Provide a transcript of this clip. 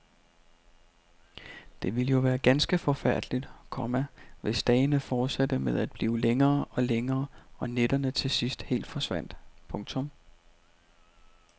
Det ville jo være ganske forfærdeligt, komma hvis dagene fortsatte med at blive længere og længere og nætterne til sidst helt forsvandt. punktum